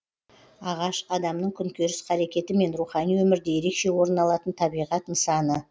ағаш адамның күнкөріс қарекеті мен рухани өмірде ерекше орын алатын табиғат нысаны